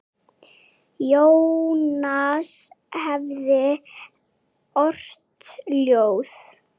Jónas hefði ort ljóð.